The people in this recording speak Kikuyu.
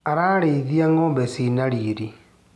Ararĩithia ngombe cina riri.